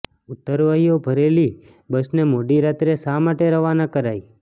ઉત્તરવહીઓ ભરેલી બસને મોડી રાત્રે શા માટે રવાના કરાઈ